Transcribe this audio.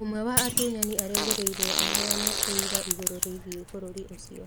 Ũmwe wa atunyani erĩgagĩrĩrũo aheane ũira igũrũ rĩgiĩ bũrũri ũcio.